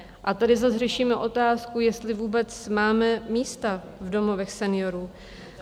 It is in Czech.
A tady zas řešíme otázku, jestli vůbec máme místa v domovech seniorů?